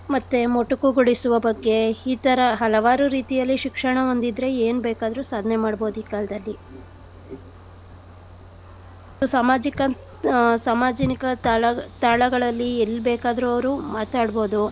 ಮತ್ತೆ ಮೊಟೊಕುಗೊಡಿಸುವ ಬಗ್ಗೆ ಈ ತರ ಹಲವಾರು ರೀತಿಯಲ್ಲಿ ಶಿಕ್ಷಣ ಒಂದಿದ್ರೆ ಏನ್ ಬೇಕಾದ್ರು ಸಾಧನೆ ಮಾಡ್ಬೋದ್ ಈ ಕಾಲ್ದಲ್ಲಿ . ಸಾಮಾಜಿಕ ಆ ಸಾಮಾಜಿನಿಕ ತಾಳ ತಾಳಗಳಲ್ಲಿ ಎಲ್ ಬೇಕಾದ್ರು ಅವ್ರು ಮಾತಾಡ್ಬೋದು.